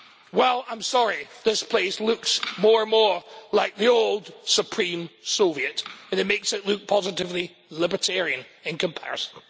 Well I'm sorry, this place looks more and more like the old Supreme Soviet and it makes it look positively libertarian in comparison.